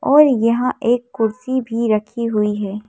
और यहाँ एक कुर्सी भी रखी हुई है।